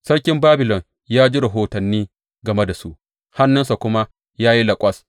Sarkin Babilon ya ji rahotanni game da su, hannunsa kuma ya yi laƙwas.